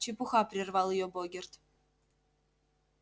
чепуха прервал её богерт